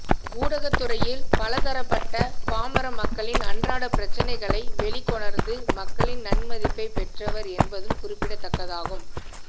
ஊடகத்தறையில் பல தரப்பட்ட பாமரமக்களின் அன்றாட பிரச்சினைகளை வெளிக்கொணர்ந்து மக்களின் நன்மதிப்பைப் பெற்றவர் என்பதும் குறிப்பிடத்தக்கதாகும்